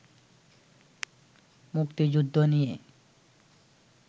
মুক্তিযুদ্ধ নিয়ে